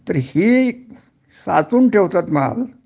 तर हि साचवून ठेवतात माल